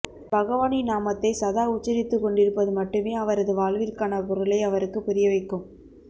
பகவானின் நாமத்தை சதா உச்சரித்துக் கொண்டிருப்பது மட்டுமே அவரது வாழ்விற்கான பொருளை அவருக்குப் புரிய வைக்கும்